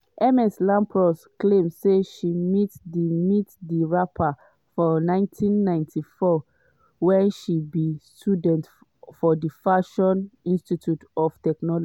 ms lampros claim say she meet di meet di rapper for 1994 wen she be student for di fashion institute for technology.